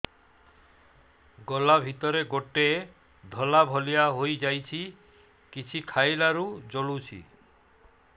ଗଳା ଭିତରେ ଗୋଟେ ଧଳା ଭଳିଆ ହେଇ ଯାଇଛି କିଛି ଖାଇଲାରୁ ଜଳୁଛି